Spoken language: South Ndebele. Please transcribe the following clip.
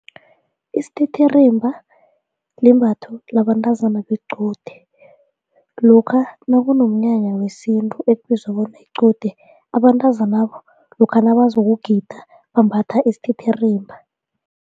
Isithithirimba limbatho labantazana bequde lokha nakunomnyanya wesintu ekubizwa bona liqude abantazanaba lokha nabazokugida bambatha isithithirimba.